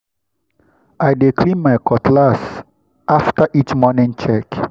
i dey clean my cutlass after each morning check.